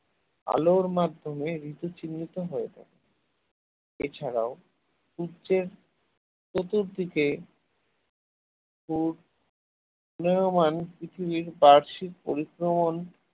আলোর মাধ্যমে ঋতু চিহ্নিত হয় এছাড়াও সূর্যের চতুর্দিকে ঘূর্~ ঘূর্ণয়মান পৃথিবীর বার্ষিক পরিক্রমণ